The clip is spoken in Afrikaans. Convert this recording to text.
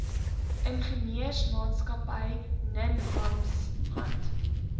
ingenieursmaatskappy ninham shand